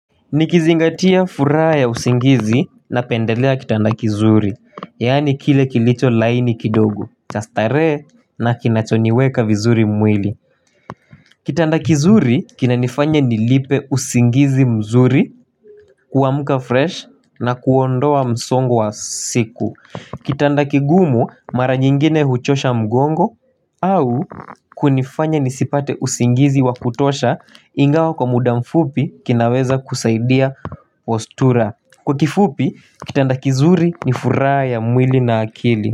Nikizingatia furaha ya usingizi napendelea kitanda kizuri Yani kile kilicho laini kidogo cha stare na kinachoniweka vizuri mwili Kitanda kizuri kinanifanya nilipe usingizi mzuri kuamuka fresh na kuondoa msongo wa siku Kitanda kigumu mara nyingine huchosha mgongo au kunifanya nisipate usingizi wa kutosha Ingawa kwa muda mfupi kinaweza kusaidia ostura Kwa kifupi kitanda kizuri ni fura ya mwili na akili.